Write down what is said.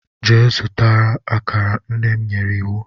Jee zuta akara, nnem nyere iwu.